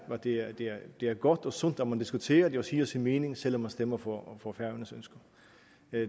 at det er godt og sundt at man diskuterer det og siger sin mening selv om man stemmer for færøernes ønsker